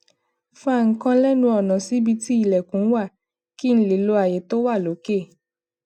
fa nǹkan lénu ònà síbi tí ilèkùn wà kí n lè lo àyè tó wà lókè